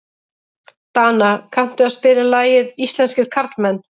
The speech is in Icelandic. Dana, kanntu að spila lagið „Íslenskir karlmenn“?